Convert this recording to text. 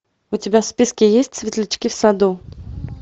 у тебя в списке есть светлячки в саду